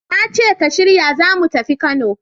Na ce ka shirya za mu tafi Kano!